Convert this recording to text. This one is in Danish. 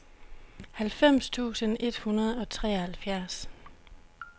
halvfems tusind et hundrede og treoghalvfjerds